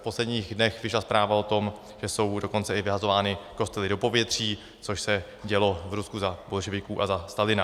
V posledních dnech vyšla zpráva o tom, že jsou dokonce i vyhazovány kostely do povětří, což se dělo v Rusku za bolševiků a za Stalina.